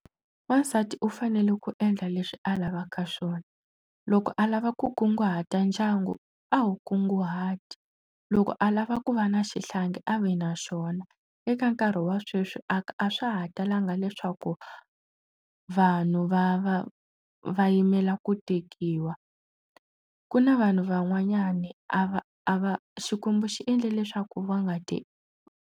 Wansati u fanele ku endla leswi a lavaka swona loko a lava ku kunguhata ndyangu a wu kunguhati loko a lava ku va na xihlangi a vi na swona eka nkarhi wa sweswi a a swa ha talanga leswaku vanhu va va va yimela ku tekiwa ku na vanhu van'wanyana a va a va xikwembu xi endle leswaku va nga te.